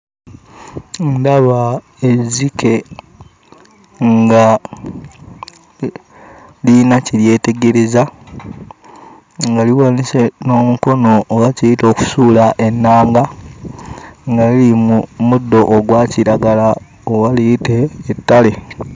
Ndaba ezzike nga lirina kye lyetegereza, nga liwanise n'omukono oba kiyite okusuula ennanga, nga liri mu muddo ogwa kiragala oba liyite ettale.